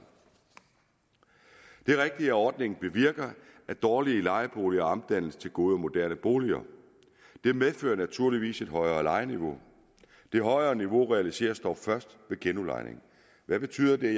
det er rigtigt at ordningen bevirker at dårlige lejeboliger omdannes til gode og moderne boliger det medfører naturligvis et højere lejeniveau det højere niveau realiseres dog først ved genudlejning hvad betyder det